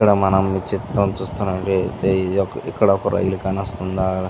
ఇక్కడ మనం ఈ చిత్రం చూస్తునట్టయితే ఇక్కడ ఒక రైలు కానవస్తుందా --